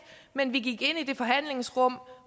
men vi gik ind i det forhandlingsrum